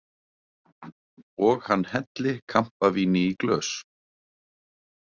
Og hann helli kampavíni í glös.